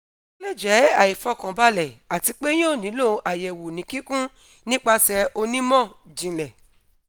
o le jẹ aifọkanbalẹ ati pe yoo nilo ayẹwo ni kikun nipasẹ onimọ-jinlẹ